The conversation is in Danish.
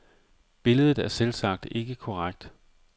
Billedet er selvsagt ikke korrekt.